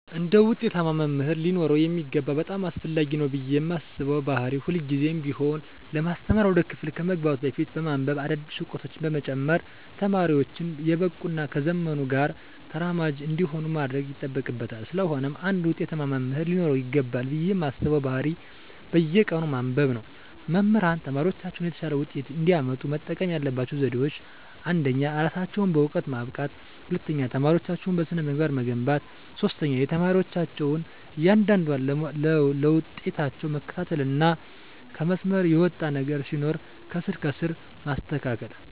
አንድ ውጤታማ መምህር ሊኖረው የሚገባው በጣም አስፈላጊ ነው ብየ ማስበው ባህሪ ሁልግዜም ቢሆን ለማስተማር ወደ ክፍል ከመግባቱ በፊት በማንብበ አዳዲስ እውቀቶችን በመጨመር ተማሪወቹን የበቁ እና ከዘመኑ ጋር ተራማጅ እንዲሆኑ ማድረግ ይጠበቅበታል ስለሆነም አንድ ውጤታማ መምህር ሊኖረው ይገባል ብየ ማስበው ባህሪ በየቀኑ ማንበብ ነው። መምህራን ተማሪወቻቸው የተሻለ ውጤት እንዲያመጡ መጠቀም ያለባቸው ዘዴወች አንደኛ እራሳቸውን በእውቀት ማብቃት፣ ሁለተኛ ተማሪወቻቸውን በስነ-ምግባር መገንባት፣ ሶስተኛ የተማሪወቻቸውን እያንዳንዷን ለውጣቸውን መከታተልና ከመስመር የወጣ ነገር ሲኖር ከስር ከስር ማስተካከል።